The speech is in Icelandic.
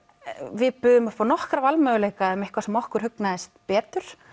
við buðum upp á nokkra valmöguleika um eitthvað sem okkur hugnaðist betur